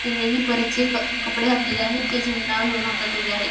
तिनेही परीचे क कपडे घातलेले आहेत ते झेंडा घेऊन हातात उभे आहेत.